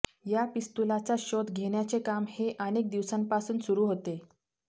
या पिस्तुलाचा शोध घेण्याचे काम हे अनेक दिवसांपासून सुरू होते